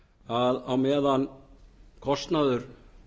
að á meðan kostnaður